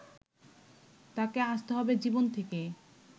তাকে আসতে হবে জীবন থেকে